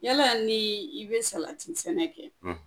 Yala ni i be salati sɛnɛ kɛ